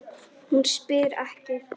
Hún spyr ekki.